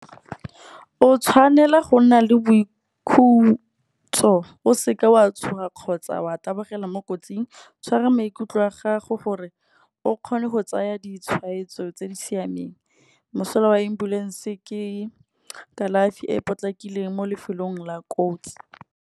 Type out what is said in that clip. O tshwanela go nna le boikhutso o seke wa tshoga kgotsa wa tabogela mo kotsing. Tshwara maikutlo a gago gore o kgone go tsaya ditshwetso, tse di siameng. Mosola wa ambulance ke kalafi e e potlakileng mo lefelong la kotsi.